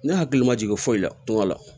Ne hakili ma jigin foyi la tuma la